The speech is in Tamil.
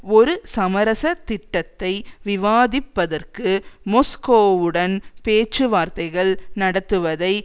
ஒரு சமரச திட்டத்தை விவாதிப்பதற்கு மொஸ்கோவுடன் பேச்சுவார்த்தைகள் நடத்துவதை